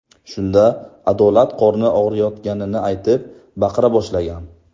Shunda Adolat qorni og‘riyotganini aytib, baqira boshlagan.